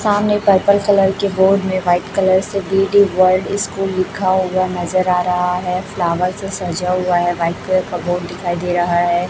सामने purple colour के board में व्हाइट कलर से डी_डी वर्ल्ड स्कुल लिखा हुआ नजर आ रहा है फ्लावर से सजा हुआ है व्हाइट कलर का बोर्ड दिखाई दे रहा है।